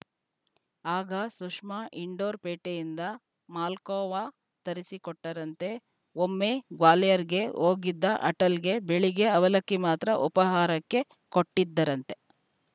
ಆಗ ಸುಷ್ಮಾ ಇಂಡೋರ್‌ ಪೇಟೆಯಿಂದ ಮಾಲ್ಖೋವಾ ತರಿಸಿಕೊಟ್ಟರಂತೆ ಒಮ್ಮೆ ಗ್ವಾಲಿಯರ್‌ಗೆ ಹೋಗಿದ್ದ ಅಟಲಗೆ ಬೆಳಿಗ್ಗೆ ಅವಲಕ್ಕಿ ಮಾತ್ರ ಉಪಾಹಾರಕ್ಕೆ ಕೊಟ್ಟಿದ್ದರಂತೆ